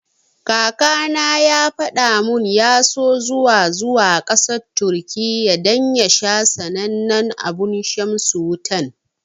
Kakana ya fada mun ya so zuwa zuwa kasar Turkiya dan ya sha sanannen abun shamsi Wutan.